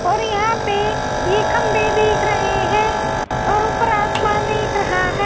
और यहां पे ये खंबे देख रहे हैं और ऊपर आसमान देख रहा है।